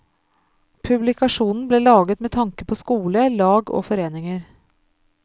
Publikasjonen ble laget med tanke på skole, lag og foreninger.